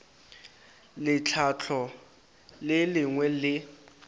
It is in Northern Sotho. le tlhahlo le lengwe le